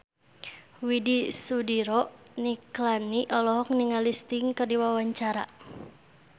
Widy Soediro Nichlany olohok ningali Sting keur diwawancara